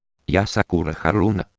я сакура харуно